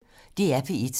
DR P1